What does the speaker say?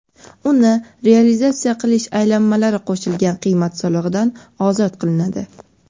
uni realizatsiya qilish aylanmalari qo‘shilgan qiymat solig‘idan ozod qilinadi.